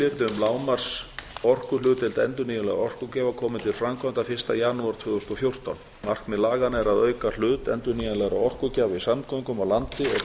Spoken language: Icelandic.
er fyrir um skilyrði um lágmarksorkuhlutdeild endurnýjanlegra orkugjafa komi til framkvæmda fyrsta janúar tvö þúsund og fjórtán markmið laganna er að auka hlut endurnýjanlegra orkugjafa í samgöngum á landi